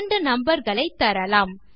இரண்டு நம்பர் களை தரலாம்